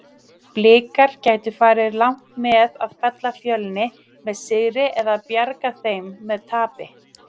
Blikar gætu farið langt með að fella Fjölni með sigri eða bjarga þeim með tapi?